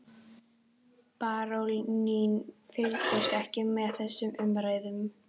Baróninn fylgdist ekki með þessum umræðum.